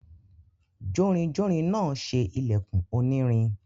jórinjórin náà se ìlẹ̀kùn onírin.